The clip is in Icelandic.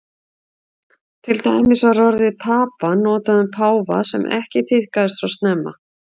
til dæmis var orðið papa notað um páfa sem ekki tíðkaðist svo snemma